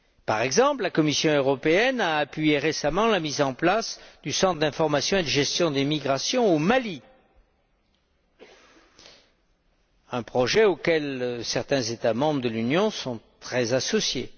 Par exemple, la Commission européenne a appuyé récemment la mise en place du Centre d'information et de gestion des migrations au Mali, un projet auquel certains États membres de l'Union sont très associés.